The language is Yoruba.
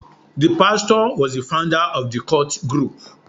The pastor was the founder of the cult group.